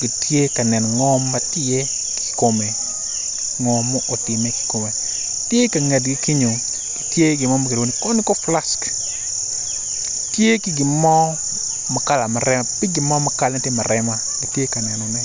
gitye ka neno ngo ma tye iye kikome ngo ma tye ka time kikome tye ikangetgi kenyo tye gin mo ma kilwongo ni koniko plask tye ki gin mo ma kalane tye ma rema gitye ka nenone.